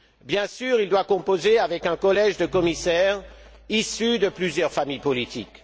Bien sûr, il doit composer avec un collège de commissaires issus de plusieurs familles politiques.